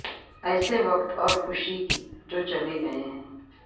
ایسے وقت اور خوشی کی جو چلے گئے ہیں